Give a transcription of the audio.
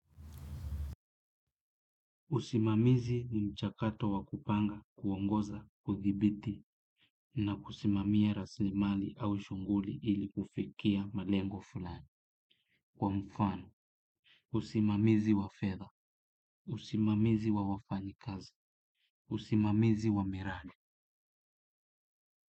Usimamizi ni mchakato wa kupanga, kuongoza, kudhibiti na kusimamia rasilimali au shughuli ili kufikia malengo fulani. Kwa mfano, usimamizi wa fedha, usimamizi wa wafanyakazi, usimamizi wa miradi.